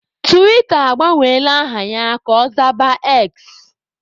Tiwita agbanwela aha ya ka ọ zaba X.